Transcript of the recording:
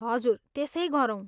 हजुर, त्यसै गरौँ।